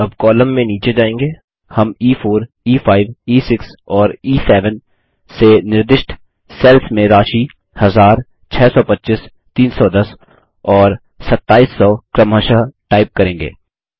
अब कॉलम में नीचे जाएँगे हम e4e5ई6 और ई7 से निर्दिष्ट सेल्स में राशि 1000625310 और 2700 क्रमशः टाइप करेंगे